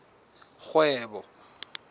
kgwebo